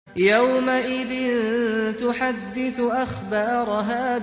يَوْمَئِذٍ تُحَدِّثُ أَخْبَارَهَا